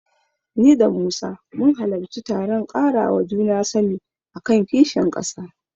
Ni da Musa mun halarci taron ƙarawa juna sani a kan kishin ƙasa.